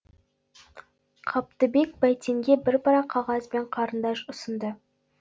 қабдыбек бәйтенге бір парақ қағаз бен қарындаш ұсынды